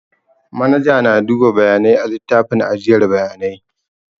Manaja na duba bayanai a littafin ajiyar bayanai